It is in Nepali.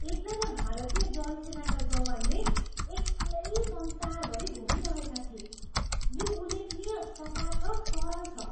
एक जना भारतीय जलसेनाका जवानले एक्लै संसारभरी घुमिरहेका थिए। यो उल्लेखनीय, सपाट र सरल छ!